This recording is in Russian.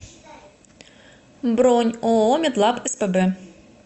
бронь ооо медлаб спб